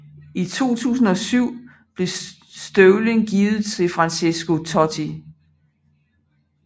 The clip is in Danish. I 2007 blev støvlen givet til Francesco Totti